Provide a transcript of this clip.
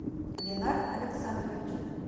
ленар александрович